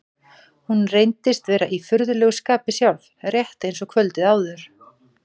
Hún reyndist vera í furðulegu skapi sjálf, rétt eins og kvöldið áður.